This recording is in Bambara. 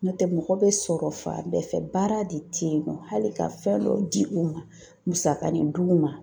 N'o tɛ mɔgɔ bɛ sɔrɔ fan bɛɛ fɛ baara de tɛ yen nɔ hali ka fɛn dɔ di u ma musakani di u ma.